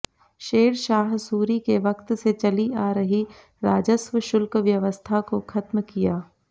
शेरशाह सूरी के वक्त से चली आ रही राजस्व शुल्क व्यवस्था को खत्म किया